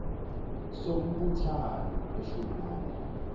sombuthano weshumi nane